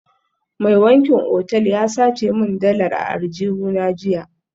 Mai wankin otal ya sace min dalar a aljihuna jiya